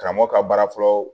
Karamɔgɔ ka baara fɔlɔ